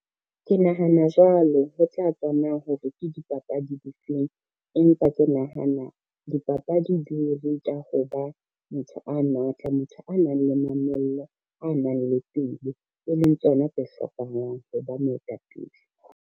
Ke nahana jwalo ho tla tswa na hore ke dipapadi di feng, empa ke nahana dipapadi di re ruta ho ba motho a matla, motho a nang le mamello, a nang le pelo, e leng tsona tse hlokahalang ho ba moetapele.